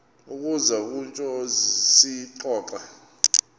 uza kutsho siyixoxe